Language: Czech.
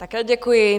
Také děkuji.